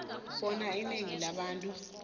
bona inengi labantu